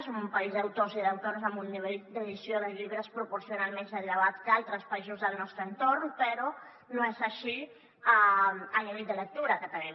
som un país d’autors i d’autores amb un nivell d’edició de llibres proporcional més elevat que altres països del nostre entorn però no és així el nivell de lectura que tenim